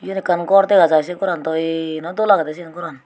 yen ekkan gor dega jai se goran daw ey noi dol agede siyen goran.